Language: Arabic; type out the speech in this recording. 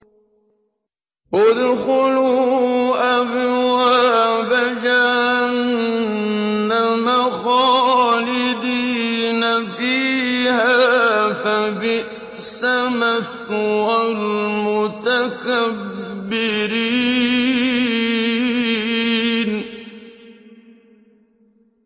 ادْخُلُوا أَبْوَابَ جَهَنَّمَ خَالِدِينَ فِيهَا ۖ فَبِئْسَ مَثْوَى الْمُتَكَبِّرِينَ